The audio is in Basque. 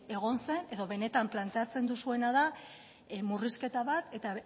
egon zen edo benetan planteatzen duzuena da murrizketa bat eta